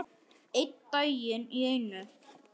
Einn dag í einu.